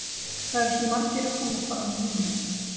Það eru svo margir að koma fram núna.